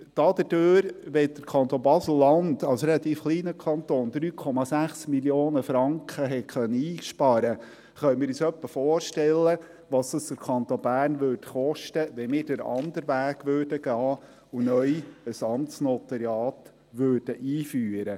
Dadurch, dass der Kanton Basel-Land als relativ kleiner Kanton 3,6 Mio. Franken einsparen konnte, können wir uns etwa vorstellen, was es den Kanton Bern kostete, wenn wir den anderen Weg gingen und neu ein Amtsnotariat einführten.